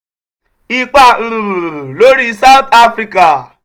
ipa lórí south africa